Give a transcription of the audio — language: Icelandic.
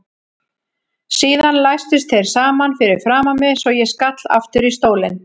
Síðan læstust þeir saman fyrir framan mig svo ég skall aftur í stólinn.